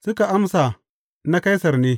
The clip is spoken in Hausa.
Suka amsa, Na Kaisar ne.